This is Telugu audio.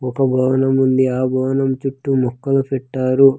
ఒక భవనం ఉంది ఆ భవనం చుట్టూ మొక్కలు పెట్టారు.